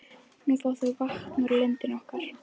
Nú fá þau vatn úr lindinni okkar.